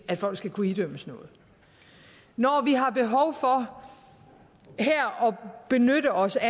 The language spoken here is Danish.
at folk skal kunne idømmes noget når vi har behov for her at benytte os af